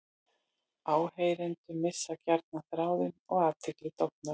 Áheyrendur missa gjarnan þráðinn og athyglin dofnar.